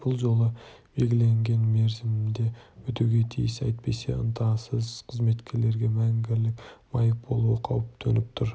бұл жұмыс белгіленген мерзімінде бітуге тиіс әйтпесе ынтасыз қызметкерге мәңгілік майып болу қаупі төніп тұр